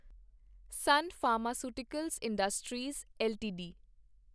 son Pharmaceuticals Industries LTD